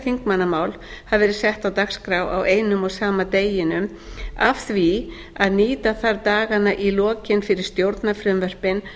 þingmannamál hafa verið sett á dagskrá á einum og sama deginum af því að nýta þarf dagana í lokin fyrir stjórnarfrumvörpin